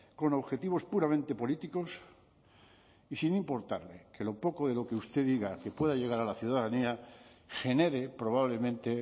con objetivos puramente políticos y sin importarle que lo poco de lo que usted diga que pueda llegar a la ciudadanía genere probablemente